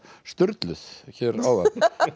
sturluð hér áðan